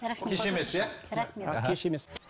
рахмет кеш емес иә кеш емес